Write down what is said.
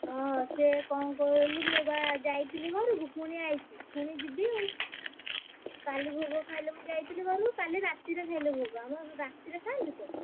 ଓହୋ, ସିଏ କଣ କହିଲୁ ମୁଁ ବା ଯାଇଥିଲି ଘରକୁ ଫୁଣି ଆଇଚି ଫୁଣି ଯିବି ଆଉ କାଲି ଭୋଗ ଖାଇଲେ ମୁଁ ଯାଇଥିଲି ଘରକୁ କାଲି ରାତିରେ ଖାଇଲେ ଭୋଗ ଆମର ରାତିରେ ଖାଆନ୍ତି ତ।